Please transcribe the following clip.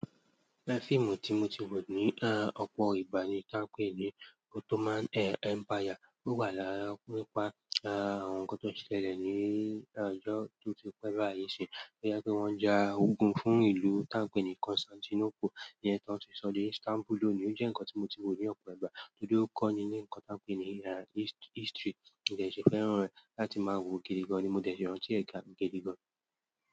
Lẹ́ fíìmù tí mo ti wò ní à, ọ̀pọ̀ ìgbà ni tá ń pè ní Ottoman à Empire. Ó wà láàárín nípa à, ohun tó ti ṣẹlẹ̀ ní à, ọjọ́ tó ti pẹ́ báyìí ṣe. Gẹ́gẹ́ bí wọ́n ja ogun fún ìlú tá ń pè ní Constantinople ní ẹ́ tan ti sọdí, Istanbul ló ni. Ó jẹ́ nǹkan tí mo ti wò ní ọ̀pọ̀ ìgbà tòde ó kọ́ni ní nǹkan tá ń pè ní à, history. N jẹ̀ṣẹ́ fẹ́ràn rẹ̀. Láti máa wo gidi gán ni mo dẹ̀ si rantí ẹ ga gidi gán.